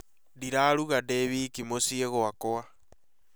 Ndĩraruga ndĩ wiki mũciĩ gwakwa